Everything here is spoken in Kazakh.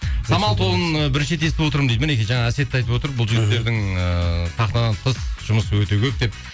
самал тобын бірінші рет естіп отырмын дейді мінекей жаңа әсет те айтып отыр бұл жігіттердің ыыы сахнадан тыс жұмысы өте көп деп